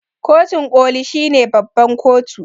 kotun koli shine babban kotu